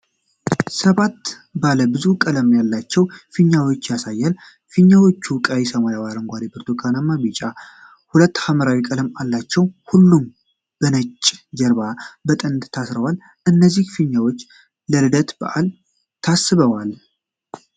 ሰባት ባለ ብዙ ቀለም ያላቸው ፊኛዎችን ያሳያል። ፊኛዎቹ ቀይ፣ ሰማያዊ፣ አረንጓዴ፣ ብርቱካናማ፣ ቢጫ እና ሁለት ሐምራዊ ቀለም አላቸው። ሁሉም በነጭ ጀርባ ላይ በጥንድ ታስረዋል። እነዚህ ፊኛዎች ለልደት በዓል ታስበዋል?